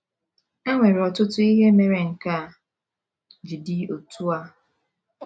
E nwere ọtụtụ ihe mere nke a ji dị otú a.